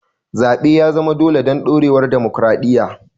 Zaɓe ya zama dole don ɗorewar dimokuradiyya.